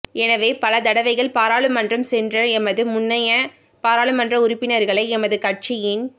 எனவே பலதடவைகள் பாராளுமன்றம் சென்ற எமது முன்னைய பாராளுமன்ற உறுப்பினர்களை எமது கட்சியின்